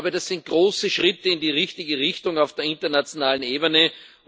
Das sind große Schritte in die richtige Richtung auf der internationalen Ebene.